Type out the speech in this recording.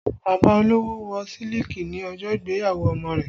Bàbá olówó Wọ́ siliki ní ọjọ́ ìgbéyàwó ọmọ rẹ̀